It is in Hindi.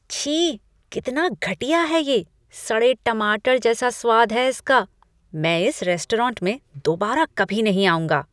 छी! कितना घटिया है ये! सड़े टमाटर जैसा स्वाद है इसका! मैं इस रेस्टोरेंट में दोबारा कभी नहीं खाऊँगा।